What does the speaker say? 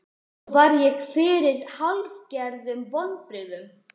Svo varð ég fyrir hálfgerðum vonbrigðum.